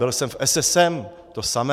Byl jsem v SSM - to samé.